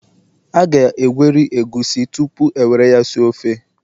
a ga-egweri egusi tupu e were ya si ofe